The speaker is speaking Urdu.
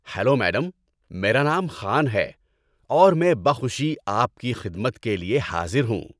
ہیلو میڈم، میرا نام خان ہے اور میں بخوشی آپ کی خدمت کے لیے حاضر ہوں۔